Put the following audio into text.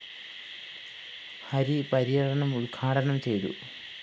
ഹരി പര്യടനം ഉദ്ഘാടനം ചെയ്തു